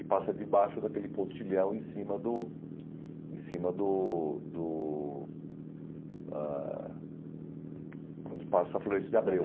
E passa debaixo daquele pontilhão em cima do em cima do do ãh... Quando passa a Floresta de Abreu.